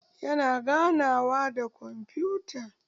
Yana ganawa ta kwamfuta.